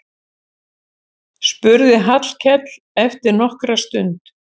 spurði Hallkell eftir nokkra stund.